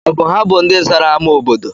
Ọ bụ ha bụ ndị zara ámá obodo?